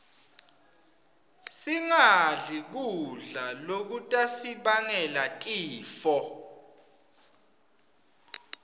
singadli kudla lokutasibangela tifo